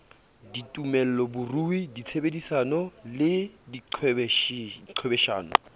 ditumelo borui tshebedisano le diqhwebeshano